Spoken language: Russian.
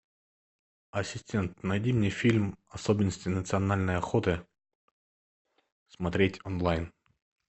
ассистент найди мне фильм особенности национальной охоты смотреть онлайн